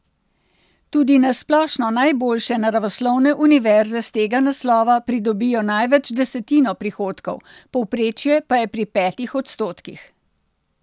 Tudi na splošno najboljše naravoslovne univerze s tega naslova pridobijo največ desetino prihodkov, povprečje pa je pri petih odstotkih.